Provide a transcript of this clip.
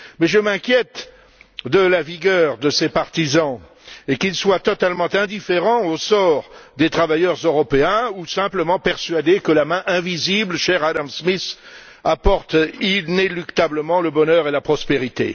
Mais je m'inquiète de la vigueur de ces partisans et du fait qu'ils soient totalement indifférents au sort des travailleurs européens ou simplement persuadés que la main invisible, chère à Adam Smith, apporte inéluctablement le bonheur et la prospérité.